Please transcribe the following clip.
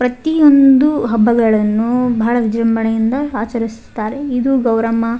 ಪ್ರತಿಯೊಂದು ಹಬ್ಬಗಳನ್ನು ಬಹಳ ವಿಜೃಂಭಣೆಯಿಂದ ಆಚರಿಸುತ್ತಾರೆ ಇದು ಗೌರಮ್ಮ --